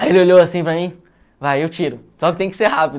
Aí ele olhou assim para mim, vai, eu tiro, só que tem que ser rápido.